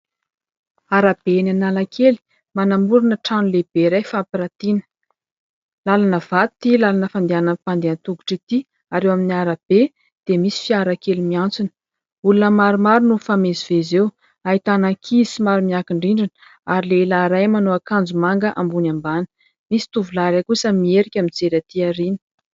Arabe eny Analakely, manamorina trano lehibe iray fampiratiana, làlana vato ity làlana fandehanan'ny mpandeha an-tongotra ity ary eo amin'ny arabe dia misy fiara kely miantsona, olona maromaro no mifamezivezy eo, ahitana ankizy maro miankin-drindrina ary lehilahy iray manao akanjo manga ambony ambany, misy tovolahy kosa miherika mijery atỳ aoriana.